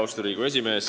Austatud Riigikogu esimees!